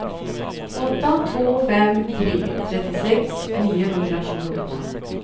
åtta två fem tre trettiosex niohundratjugoåtta